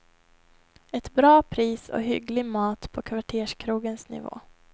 Ett bra pris och hygglig mat på kvarterskrogens nivå.